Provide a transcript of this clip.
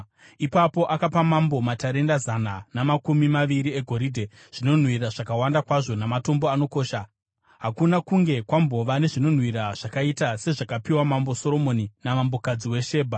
Ipapo akapa mambo matarenda zana namakumi maviri egoridhe, zvinonhuhwira zvakawanda kwazvo namatombo anokosha. Hakuna kunge kwambova nezvinonhuhwira zvakaita sezvakapiwa mambo Soromoni namambokadzi weShebha.